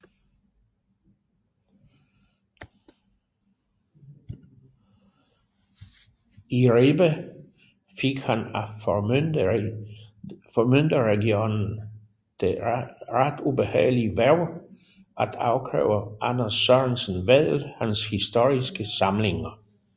I Ribe fik han af Formynderregeringen det ret ubehagelige hverv at afkræve Anders Sørensen Vedel hans historiske samlinger